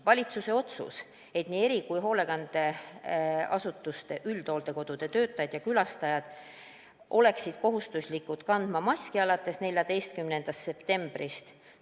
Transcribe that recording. Valitsus otsustas, et nii erihoolekandeasutuste kui ka üldhooldekodude töötajad ja külastajad on kohustatud alates 14. septembrist kandma maski.